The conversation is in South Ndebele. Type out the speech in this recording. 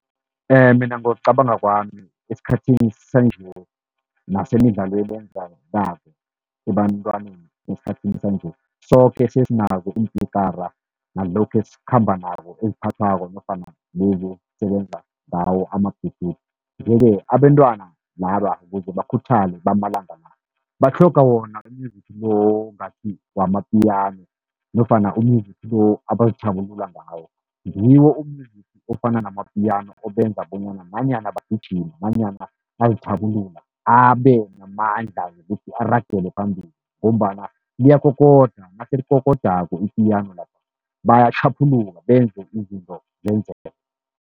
Mina ngokucabanga kwami esikhathini sanje nasemidlalweni ebantwaneni, esikhathini sanje soke sesinazo iimpikara nalokhu esikhamba nako eziphathwako, nofana lezi ezisebenza ngawo ama-bluetooth. Yeke, abentwana laba ukuze bakhuthale bamalanga la batlhoga wona u-music lo ngathi ngewama-piano nofana u-music lo abazithabulula ngawo. Ngiwo u-music ofana nama-piano obenza bonyana nanyana bagijima nanyana bazithabulula abe namandla wokuthi aragele phambili, ngombana liyakokoda naselikokodako i-piano la, bayatjhaphuluka benze izinto zenzeke